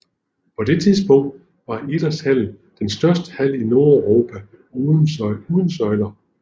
På det tidspunkt var Idrætshallen den største hal i Nordeuropa uden søjler